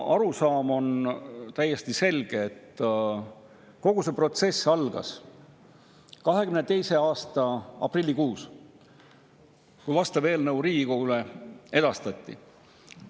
Arusaam on täiesti selge: kogu see protsess algas 2022. aasta aprillikuus, kui vastav eelnõu Riigikogule edastati.